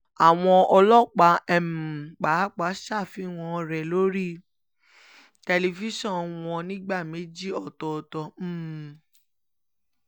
àwọn ọlọ́pàá um pàápàá ṣàfihàn rẹ̀ lórí tẹlifíṣàn wọn nígbà méjì ọ̀tọ̀ọ̀tọ̀ um